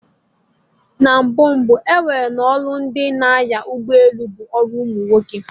Na mbụ mbụ, ewere na ọlụ ndị n'anya ụgbọ elu bụ ọrụ umunwoke